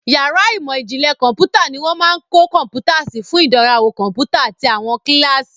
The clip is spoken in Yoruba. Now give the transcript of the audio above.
Yàrá ìmọ̀ ìjìnlẹ̀ kọ̀ḿpútà ni wọ́n máa ń kó kọ̀ḿpútà sí fún ìdánrawò kọ̀ḿpútà àti àwọn kíláàsì.